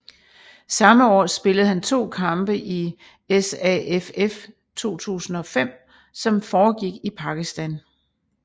Samme år spillede han 2 kampe i SAFF 2005 som foregik i Pakistan